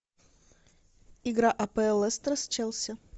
игра апл лестер с челси